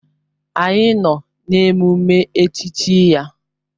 Anyị nọ n'emume echichi ya.